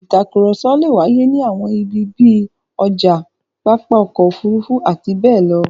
Ìtakùrọ̀sọ le wáyé ní àwọn ibi bí i ọjà, pápá ọkọ̀-òfurufú àti bẹ́ẹ̀ bẹ́ẹ̀ lọ.